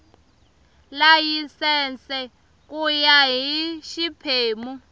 layisense ku ya hi xiphemu